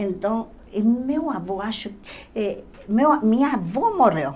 Então, meu avô, acho eh meu a... Minha avó morreu.